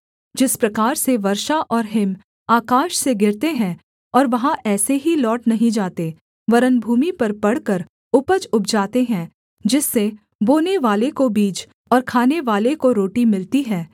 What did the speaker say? जिस प्रकार से वर्षा और हिम आकाश से गिरते हैं और वहाँ ऐसे ही लौट नहीं जाते वरन् भूमि पर पड़कर उपज उपजाते हैं जिस से बोनेवाले को बीज और खानेवाले को रोटी मिलती है